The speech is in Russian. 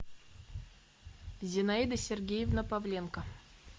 зинаида сергеевна павленко